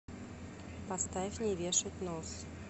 поставь не вешать нос